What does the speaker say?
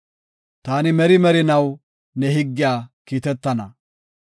Taani merii merinaw ne higgiya kiitetana.